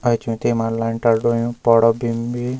एैंचु तेमा लेंटर ढोल्युं पौड़ो गिम भी।